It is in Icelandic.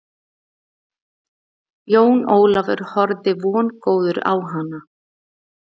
Jón Ólafur horfði vongóður á hana.